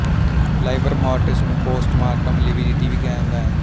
ਲਾਇਵਰ mortis ਨੂੰ postmortem lividity ਵੀ ਕਿਹਾ ਜਾਂਦਾ ਹੈ